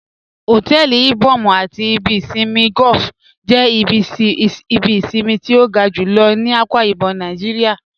Hotẹẹli Ìbòm̀ àti ìbì ìṣinmí golf jẹ́ ìbí ìṣinmí tí o ga júlọ̀ ní Akwa Ibom Naijíríà